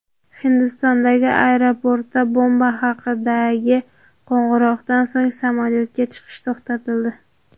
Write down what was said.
Hindistondagi aeroportda bomba haqidagi qo‘ng‘iroqdan so‘ng samolyotga chiqish to‘xtatildi.